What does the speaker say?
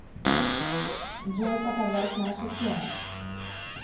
джой показать наша тема